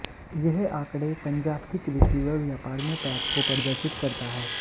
यह आंकड़े पंजाब की कृषि व व्यापार में पैठ को प्रदर्शित करता है